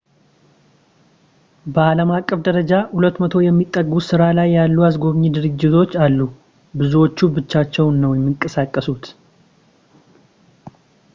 በአለምአቀፍ ደረጃ 200 የሚጠጉ በስራ ላይ ያሉ አስጎብኚ ድርጅቶች አሉ ብዙዎቹ ብቻቸውን ነው የሚንቀሳቀሱት